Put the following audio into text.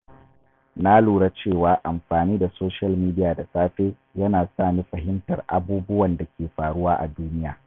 Na lura cewa amfani da social media da safe yana sa ni fahimtar abubuwan da ke faruwa a duniya.